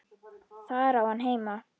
Þar á hann heima.